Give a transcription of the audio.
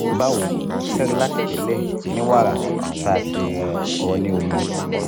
bawo cerelac tẹlẹ ni wara ti a ti rọ ni omi